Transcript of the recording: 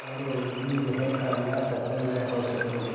पर उनकी यह कामना सफल न हो सकी